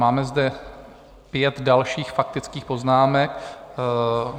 Máme zde pět dalších faktických poznámek.